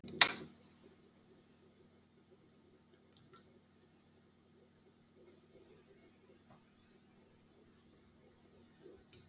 Jói, urðu miklar skemmdir á staðnum?